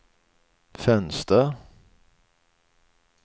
fönster